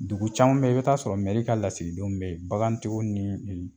Dugu caman bɛ yen, i bɛ t'a sɔrɔ mɛri ka lasigidenw bɛ yen, bagantigiw ni